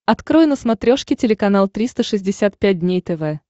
открой на смотрешке телеканал триста шестьдесят пять дней тв